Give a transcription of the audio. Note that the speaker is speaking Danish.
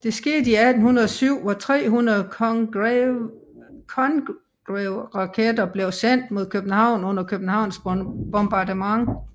Det skete i 1807 hvor 300 Congreveraketter blev sendt mod København under Københavns bombardement